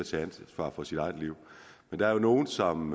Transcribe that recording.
tage ansvar for sit eget liv men der er jo nogle som